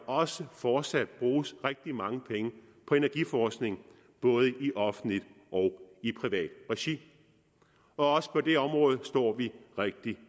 også fortsat bruges rigtig mange penge på energiforskning både i offentligt og i privat regi også på det område står vi rigtig